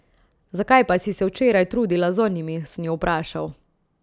Zakaj pa si se včeraj trudila z onimi, sem jo vprašal.